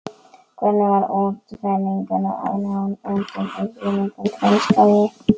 Hvernig fara útlendingar að ná áttum í þvílíkum frumskógi?